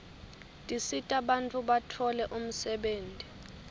tisita bantfu batfole umsebtniti